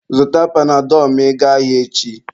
Zụta panadọlụ ma ị gaa ahịa echi